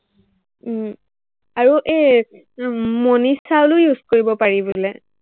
উম আৰু এৰ মনিছালো use কৰিব পাৰি বোলে।